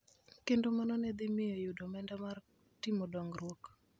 kendo mano ne dhi miyo yudo omenda mar timo dongruok